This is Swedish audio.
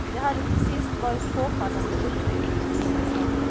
Det hade till sist varit påfallande upprymt mindes han.